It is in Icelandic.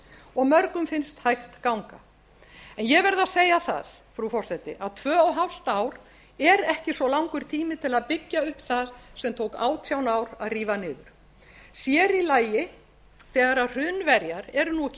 og mörgum finnst hægt ganga en ég verð að segja það frú forseti að tvö og hálft ár er ekki svo langur tími til að byggja upp það sem tók átján ár að rífa niður sér í lagi þegar hrunverjar eru nú ekki